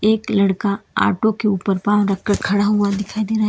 एक लड़का ऑटो के ऊपर पांव रखकर खड़ा हुआ दिखाई दे रहा है।